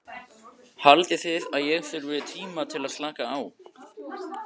Haldið þið að ég þurfi tíma til að slaka á?